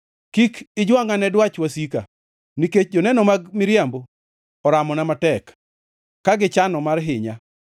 Kik ijwangʼa ne dwach wasika, nikech joneno mag miriambo oramona matek, ka gichano mar hinya.